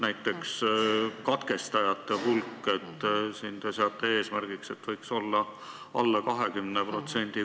Näiteks katkestajate hulk – te seate eesmärgiks, et see võiks olla alla 20%.